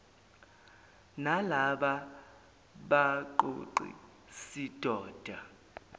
nalaba baqoqi sidoda